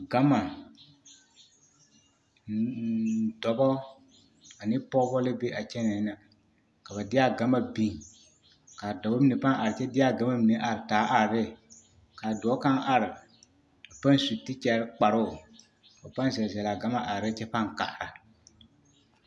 Gama dɔbɔ ane pɔgbɔ la be a kyɛnɛɛ na ka ba deɛ a gama biŋ kaa dɔbɔ mine paaŋ are kyɛ deɛ gama mine a taa are ne kaa dɔɔ kaŋ are a paŋ su tekyɛre kparo ka ba paŋ zɛl zɛl laa gama are ne kyɛ paŋ kaara.